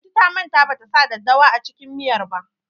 Lanti ta manta ban ta sa daddawa a cikin miyar ba.